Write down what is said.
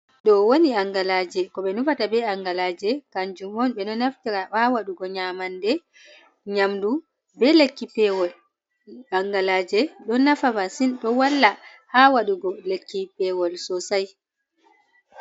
Ɗo woni angalaje: Ko ɓe nufata be angalaje kanjum on ɓe no naftira ha waɗugo nyamande, nyamdu, be lekki pewol. Angalaje ɗo nafa masin ɗo walla ha waɗugo lekki pewol sosai.